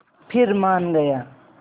फिर मान गया